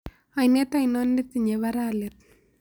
Oinet ainon netiinye bara let